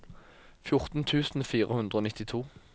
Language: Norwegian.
fjorten tusen fire hundre og nittito